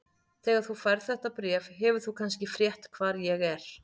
Þegar þú færð þetta bréf hefur þú kannski frétt hvar ég er.